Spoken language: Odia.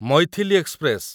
ମୈଥିଲି ଏକ୍ସପ୍ରେସ